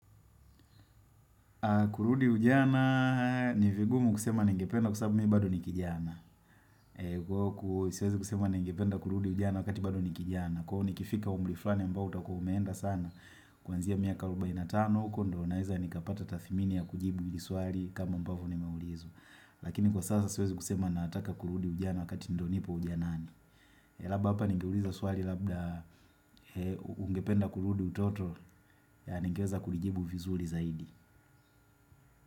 Kurudi ujana ni vigumu kusema ningependa kwa sababu mi bado ni kijana Kwa huku siwezi kusema ningependa kurudi ujana wakati bado ni kijana Kwa huku ni kifika umri fulani ambao utakua umeenda sana Kwanzia miaka arubaini na tan huko ndio naeza nikapata tadhimini ya kujibu hili swali kama ambavyo nimeulizwa Lakini kwa sasa siwezi kusema nataka kurudi ujana wakati ndo nipo ujanani hapa ningeuliza swali labda ungependa kurudi utoto Yeah ningeweza kuijibu vizuri zaidi.